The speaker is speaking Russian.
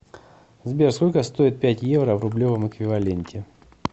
сбер сколько стоит пять евро в рублевом эквиваленте